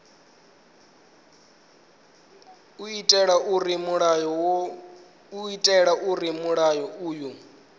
u itela zwauri mulayo uyu